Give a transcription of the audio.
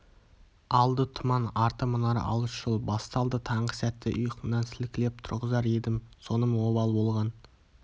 алды тұман арты мұнар алыс жол басталды таңғы сәтте ұйқыңнан сілкілеп тұрғызар едім соным обал болған